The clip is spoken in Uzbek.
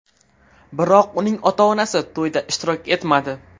Biroq uning ota-onasi to‘yda ishtirok etmadi.